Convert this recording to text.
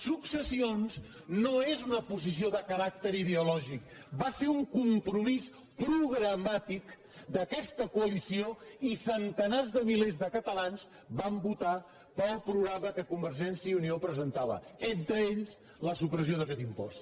successions no és una posició de caràcter ideològic va ser un compromís programàticcoalició i centenars de milers de catalans van votar pel programa que convergència i unió presentava entre ells la supressió d’aquest impost